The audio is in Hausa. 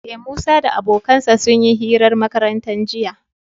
Ee, Musa da abokansa sun yi hirar makaranta jiya.